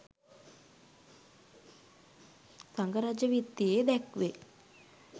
සඟ රජ විත්තියේ දැක්වේ.